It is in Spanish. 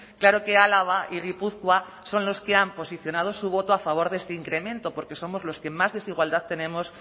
claro que álava y gipuzkoa son los que han posicionado su voto a favor de este incremento porque somos los que más desigualdad tenemos